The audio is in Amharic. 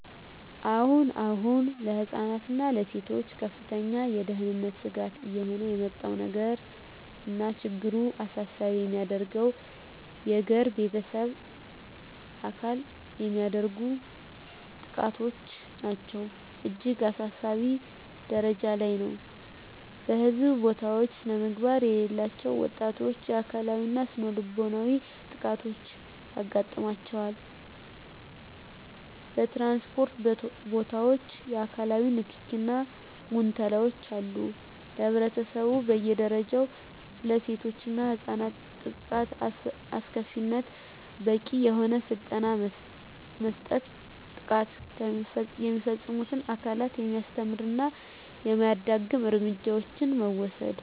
አሁን አሁን ለህፃናት እና ለሴቶች ከፍተኛ የደህንነት ስጋት እየሆነ የመጣው ነገር እና ችግሩን አሳሳቢ የሚያደርገው የገር በቤተሰብ አካል የሚደረጉ ጥቃቶች ናቸው እጅግ አሳሳቢ ጀረጃ ላይ ነው በህዝብ ቦታውች ስነምግባር የሌላቸው ወጣቶች የአካላዊ እና ስነልቦናዊ ጥቃቶች ያጋጥማቸዋል በትራንስፖርት ቦታወች የአካላዊ ንክኪ እና ጉንተላወች አሉ ለህብረተሰቡ በየ ደረጃው ስለሴቶች እና ህፃናት ጥቃት አስከፊነት በቂ የሆነ ስልጠና መስጠት ጥቃት የሚፈፅሙትን አካላት የሚያስተምር እና የማያዳግም እርምጃዎችን መውሰድ።